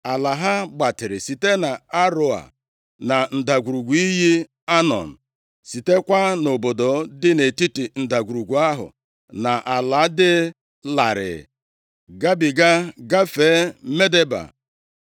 Ala ha gbatịrị site nʼAroea, na ndagwurugwu iyi Anọn, sitekwa nʼobodo dị nʼetiti ndagwurugwu ahụ na ala dị larịị gabiga gafee Medeba,